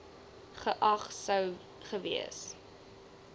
geag sou gewees